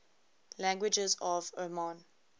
languages of oman